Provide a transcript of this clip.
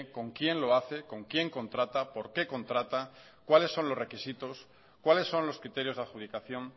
con quién lo hace con quién contrata por qué contrata cuáles son los requisitos cuáles son los criterios de adjudicación